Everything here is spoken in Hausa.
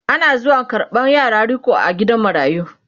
Ana zuwa karɓan yaran riko a gidan marayu